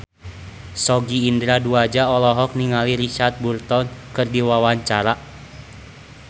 Sogi Indra Duaja olohok ningali Richard Burton keur diwawancara